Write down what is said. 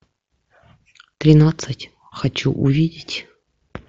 тринадцать хочу увидеть